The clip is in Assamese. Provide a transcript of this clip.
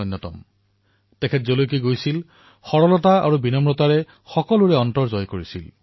বহুতো স্থানলৈ তেওঁ গৈছিল আৰু যিবোৰ স্থানলৈ গৈছিল সকলোতে তেওঁ নিজৰ সৰলতা বিনম্ৰতাৰে সকলোৰে অন্তৰ জয় কৰিবলৈ সক্ষম হৈছিল